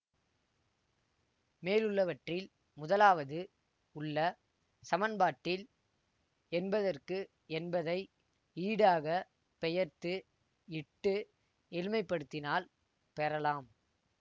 மேலுள்ளவற்றில் முதலாவது உள்ள சமன்பாட்டில் என்பதற்கு என்பதை ஈடாக பெயர்த்து இட்டு எளிமைப்படுத்தினால் பெறலாம்